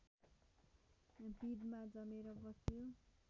पिँधमा जमेर बस्यो